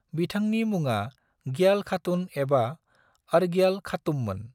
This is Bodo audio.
बिथांनि मुङा ग्याल खातून एबा अर्ग्याल खातूममोन।